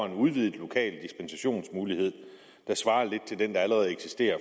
en udvidet lokal dispensationsmulighed der svarer lidt til den der allerede eksisterer